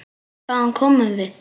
Hvaðan komum við?